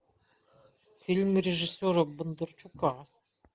фильм режиссера бондарчука